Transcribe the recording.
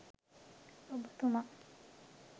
ඔබ තුමා